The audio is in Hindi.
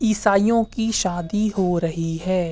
ईसाईओं की शादी हो रही है।